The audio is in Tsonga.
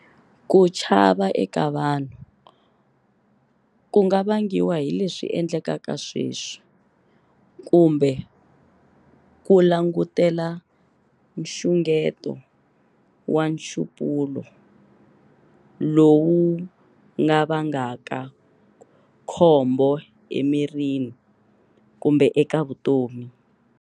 Kuchava eka vanhu kunga vangiwa hileswi endlekaka sweswi kumbe ku langutela nxungeto wa nxupulo lowu ngavangaka khombo emirini kumbe eka vutomi.